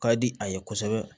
Ka di a ye kosɛbɛ